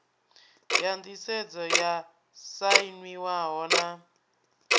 ya nḓisedzo yo sainiwaho na